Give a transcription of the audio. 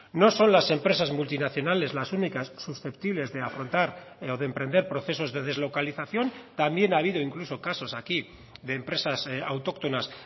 no son las empresas multinacionales las únicas susceptibles de afrontar o de emprender procesos de deslocalización también ha habido incluso casos aquí de empresas autóctonas